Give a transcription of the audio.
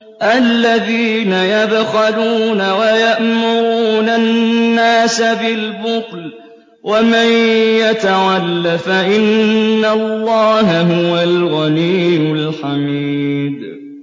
الَّذِينَ يَبْخَلُونَ وَيَأْمُرُونَ النَّاسَ بِالْبُخْلِ ۗ وَمَن يَتَوَلَّ فَإِنَّ اللَّهَ هُوَ الْغَنِيُّ الْحَمِيدُ